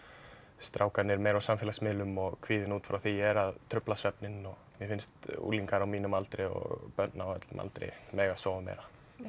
strákarnir meira á samfélagsmiðlum og kvíðinn út frá því er að trufla svefninn og mér finnst unglingar á mínum aldri og börn á öllum aldri mega sofa meira já